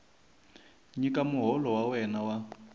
nyika muholo wa wena wa